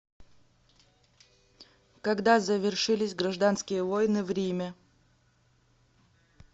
когда завершились гражданские войны в риме